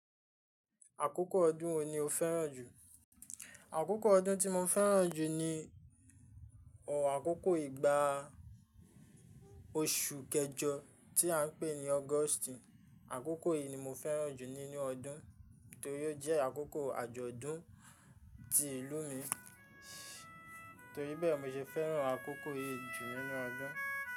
Àkókò ọdún wo ni o fẹ́ràn jù? Àkókò ọdún tí mo fẹ́ràn jù ni, ọ̀ àkókò ìgbà oṣù kẹjọ tí à ń pè ní August. Àkókò yìí ni mo fẹ́ràn jù nínú ọdún torí ó jẹ́ àkókò àjọ̀dún ti ìlú mi, torí bẹ́ẹ̀ mo ṣe fẹ́ràn àkókò yìí jù nínú ọdún.